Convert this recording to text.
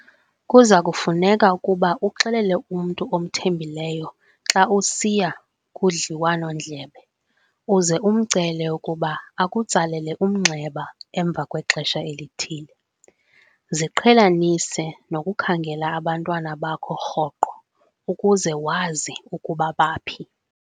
Kuza kufuneka ukuba uxelele umntu omthembileyo xa usiya kudliwano-ndlebe uze umcele ukuba akutsalele umnxeba emva kwexesha elithile. Ziqhelanise nokukhangela abantwana bakho rhoqo, ukuze wazi ukuba baphi.